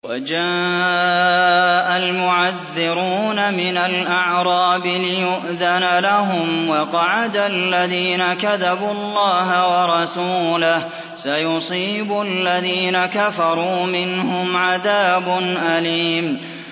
وَجَاءَ الْمُعَذِّرُونَ مِنَ الْأَعْرَابِ لِيُؤْذَنَ لَهُمْ وَقَعَدَ الَّذِينَ كَذَبُوا اللَّهَ وَرَسُولَهُ ۚ سَيُصِيبُ الَّذِينَ كَفَرُوا مِنْهُمْ عَذَابٌ أَلِيمٌ